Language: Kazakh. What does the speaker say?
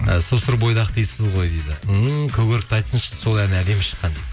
і сұр бойдақсыз дейсіз ғой дейді ммм көк өрікті айтсыншы дейді сол ән әдемі шыққан дейді